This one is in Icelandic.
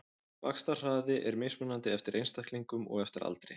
Vaxtarhraði er mismunandi eftir einstaklingum og eftir aldri.